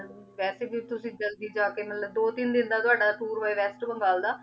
ਹੁਣ ਵੇਸੇ ਵੀ ਤੁਸੀਂ ਜਲਦੀ ਜਾ ਕੇ ਮਤਲਬ ਦੋ ਤੀਨ ਦਿਨ ਦਾ ਤਾਵਾਦਾ ਟੋਉਰ ਹੋਆਯ ਗਾ ਰੇਸ੍ਤ੍ਰੂਮ ਵਾਲ ਦਾ